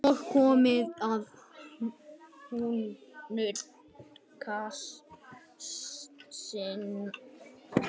Nóg komið af hnútukasti